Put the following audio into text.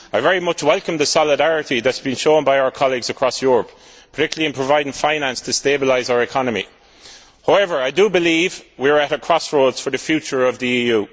I very much welcome the solidarity that has been shown by our colleagues across Europe, particularly in providing finance to stabilise our economy. However, I do believe we are at a crossroads for the future of the EU.